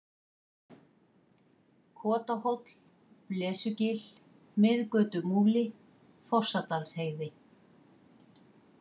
Kotahóll, Blesugil, Miðgötumúli, Fossadalsheiði